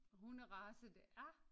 Hunderace det er